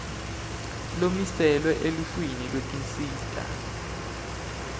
lomiselwe eluhlwini lwetinsita